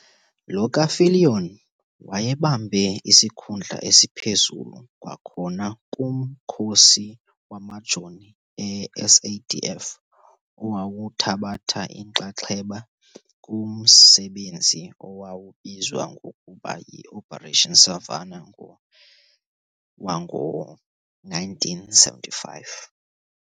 Lo ka-Viljoen wayebambe isikhundla esiphezulu kwakhona kumkhosi wamaJoni e-SADF owawuthabatha inxaxheba kumsebenzi owawubizwa ngokuba yi"Operation Savannah wango1975.